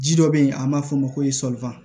Ji dɔ be yen an b'a f'o ma ko